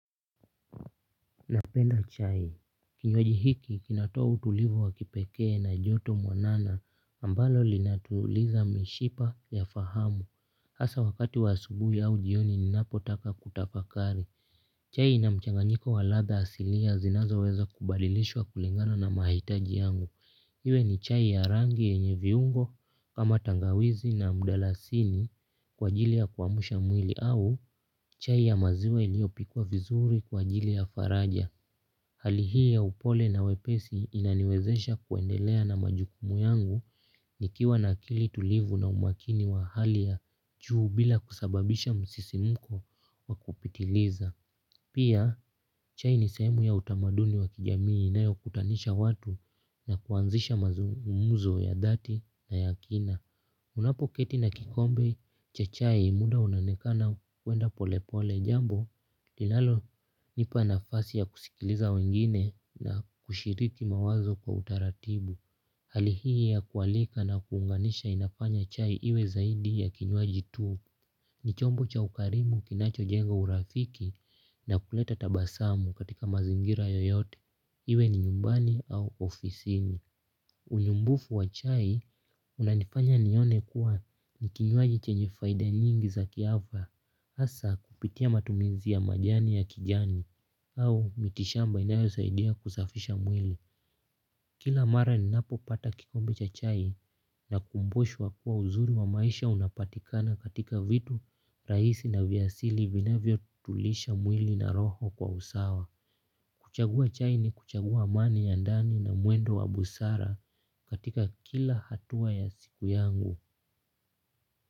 Napenda chai. Kinywaji hiki kinatoa utulivu wa kipekee na joto mwanana ambalo linatuliza mishipa ya fahamu. Hasa wakati wa asubui au jioni ninapotaka kutafakari chai ina mchanganyiko wa ladha asilia zinazoweza kubadilishwa kulingana na mahitaji yangu. Iwe ni chai ya rangi yenye viungo kama tangawizi na mdalasini kwa ajili ya kuamusha mwili au chai ya maziwa iliyopikwa vizuri kwa ajili ya faraja. Hali hii ya upole na wepesi inaniwezesha kuendelea na majukumu yangu nikiwa na akili tulivu na umakini wa hali ya juu bila kusababisha msisimko wa kupitiliza. Pia, chai ni sehemu ya utamaduni wa kijamii inayokutanisha watu na kuanzisha mazumuzo ya dhati na ya kina. Unapoketi na kikombe cha chai muda unaonekana kuenda polepole jambo linalonipa nafasi ya kusikiliza wengine na kushiriki mawazo kwa utaratibu. Hali hii ya kualika na kuunganisha inafanya chai iwe zaidi ya kinywaji tu. Ni chombo cha ukarimu kinachojenga urafiki na kuleta tabasamu katika mazingira yoyote iwe ni nyumbani au ofisini unyumbufu wa chai unanifanya nione kuwa ni kinywaji chenye faida nyingi za kiafya asa kupitia matumizi ya majani ya kijani au miti shamba inayosaidia kusafisha mwili. Kila mara ni napopata kikombe cha chai nakumbushwa kua uzuri wa maisha unapatikana katika vitu raisi na vya asili vinavyotulisha mwili na roho kwa usawa. Kuchagua chai ni kuchagua amani ya ndani na mwendo wa busara katika kila hatua ya siku yangu.